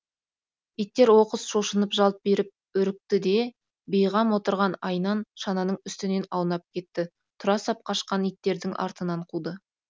иттер оқыс шошынып жалт беріп үрікті де бейғам отырған айнан шананың үстінен аунап кетті тұра сап қашқан иттердің артынан қуды